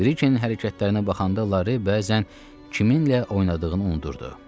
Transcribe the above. Brikenin hərəkətlərinə baxanda Lare bəzən kiminlə oynadığını unudurdu.